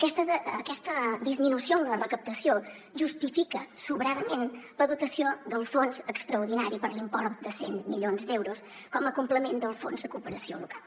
aquesta disminució en la recaptació justifica sobradament la dotació del fons extraordinari per l’import de cent milions d’euros com a complement del fons de cooperació local